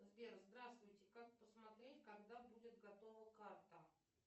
сбер здравствуйте как посмотреть когда будет готова карта